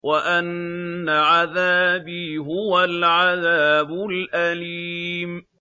وَأَنَّ عَذَابِي هُوَ الْعَذَابُ الْأَلِيمُ